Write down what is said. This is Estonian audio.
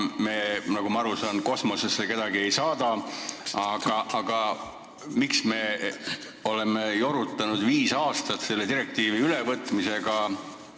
Nagu ma aru saan, kosmosesse me kedagi ei saada, aga miks me oleme jorutanud viis aastat selle direktiivi ülevõtmisega?